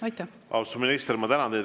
Austatud minister, ma tänan teid!